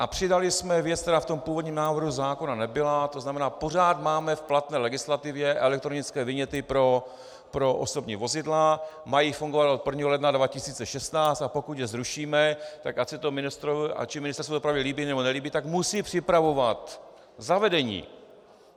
A přidali jsme věc, která v tom původním návrhu zákona nebyla, to znamená, pořád máme v platné legislativě elektronické viněty pro osobní vozidla, mají fungovat od 1. ledna 2016, a pokud je zrušíme, tak ať se to Ministerstvu dopravy líbí nebo nelíbí, tak musí připravovat zavedení.